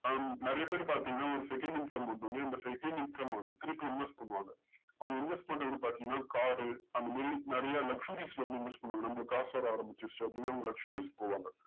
ஆஹ் நறைய பேர் பாத்திங்கன்னா second income வந்தொன்னே அந்த second income அ திரும்பி inverse பண்ணுவாங்க அவங்க inverse பண்றது பாத்திங்கன்னா car அந்தமாறி நறைய luxuaries ல வந்து inverse பண்ணுவாங்க நம்மளுக்கு காஸ் வர ஆரம்பிச்சுடுச்சு அப்டின்னு luxury போவாங்க